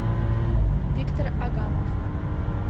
виктор агамов